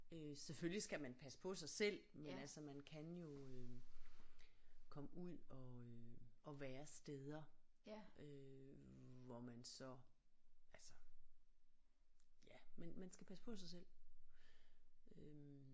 Øh selvfølgelig skal man passe på sig selv men altså man kan jo øh komme ud og øh og være steder øh hvor man så altså ja man man skal passe på sig selv øh